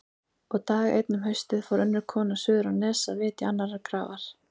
Og dag einn um haustið fór önnur kona suður á Nes að vitja annarrar grafar.